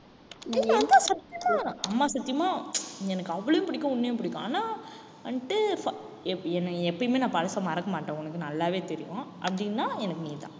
சத்தியமா அம்மா சத்தியமா நீ எனக்கு அவளையும் பிடிக்கும் உன்னையும் பிடிக்கும் ஆனா வந்துட்டு என்னைய எப்பயுமே நான் பழச மறக்க மாட்டேன் உனக்கு நல்லாவே தெரியும் அப்படின்னா, எனக்கு நீதான்.